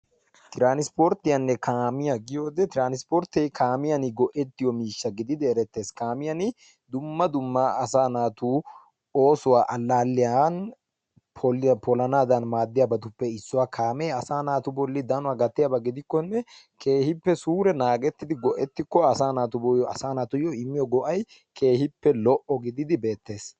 Tiranssporttiyaanne kaamiyaa giyode tiiransportte kaamiyan go'ettiyo miishshaa gididi erettees. Kaamiyaan dumma dumma asaa naatu oosuwaa allaliyaan poliyaa polanadan maaddiyaabatuppe issuwaa. Kaame asaa naatu bolli danuwaa gattiyaba gidikone keehippe suure naagettidi go'ettikko asaa naatuyo immiyo go'ay keehippe lo'o gididi beettees.